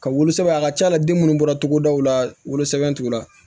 Ka wolo sɛbɛn a ka ca la den munnu bɔra togodaw la wolosɛbɛn t'u la